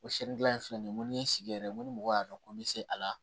O siyɛnni dilan in filɛ nin ye n ko ni ye sigi yɛrɛ n ko ni mɔgɔ y'a dɔn ko n bɛ se a la